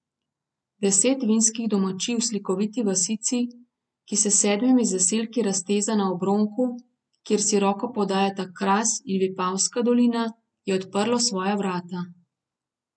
Deset vinskih domačij v slikoviti vasici, ki se s sedmimi zaselki razteza na obronku, kjer si roko podajata Kras in Vipavska dolina, je odprlo svoja vrata.